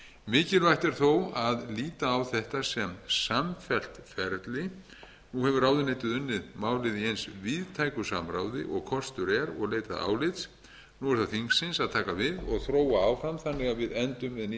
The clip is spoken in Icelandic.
mikilvægt er þó að líta á þetta sem samfellt ferli nú hefur ráðuneytið unnið málið í eins víðtæku samráði og kostur er og leitað álits nú er það þingsins að taka við og þróa áfram þannig að við endum með ný